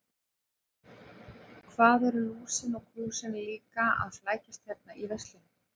Hvað eru Lúsin og Krúsin líka að flækjast hérna í veislunni.